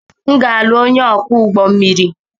M ga-alụ onye ọkwọ ụgbọ mmiri.